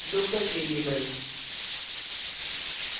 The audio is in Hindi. local variable